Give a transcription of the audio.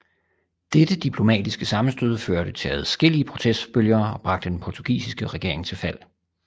Dette diplomatiske sammenstød førte til adskillige protestbølger og bragte den portugisiske regering til fald